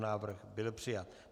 Návrh byl přijat.